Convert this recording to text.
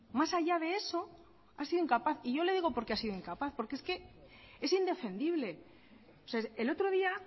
más allá de eso ha sido incapaz y yo le he dicho por qué ha sido incapaz porque es que es indefendible el otro día